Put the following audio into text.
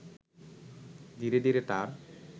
ধীরে ধীরে তার